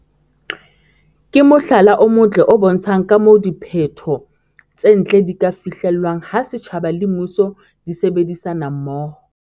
ke mohlala o motle o bontshang ka moo diphetho tse ntle di ka fihlelwang ha setjhaba le mmuso di sebedisana mmoho.